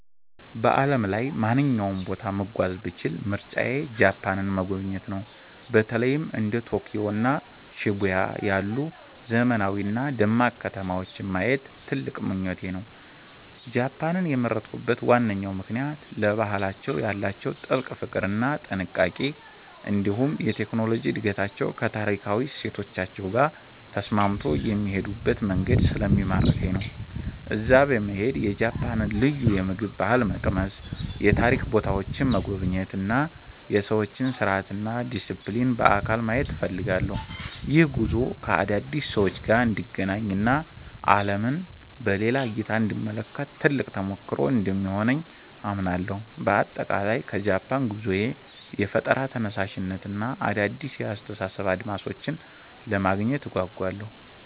በዓለም ላይ ማንኛውንም ቦታ መጓዝ ብችል ምርጫዬ ጃፓንን መጎብኘት ነው። በተለይም እንደ ቶኪዮ እና ሺቡያ ያሉ ዘመናዊና ደማቅ ከተማዎችን ማየት ትልቅ ምኞቴ ነው። ጃፓንን የመረጥኩበት ዋናው ምክንያት ለባህላቸው ያላቸውን ጥልቅ ፍቅር እና ጥንቃቄ፣ እንዲሁም የቴክኖሎጂ እድገታቸው ከታሪካዊ እሴቶቻቸው ጋር ተስማምቶ የሚሄዱበት መንገድ ስለሚማርከኝ ነው። እዚያ በመሄድ የጃፓንን ልዩ የምግብ ባህል መቅመስ፣ የታሪክ ቦታዎችን መጎብኘት እና የሰዎችን ስርዓትና ዲሲፕሊን በአካል ማየት እፈልጋለሁ። ይህ ጉዞ ከአዳዲስ ሰዎች ጋር እንድገናኝ እና ዓለምን በሌላ እይታ እንድመለከት ትልቅ ተሞክሮ እንደሚሆነኝ አምናለሁ። በአጠቃላይ ከጃፓን ጉዞዬ የፈጠራ ተነሳሽነትን እና አዳዲስ የአስተሳሰብ አድማሶችን ለማግኘት እጓጓለሁ።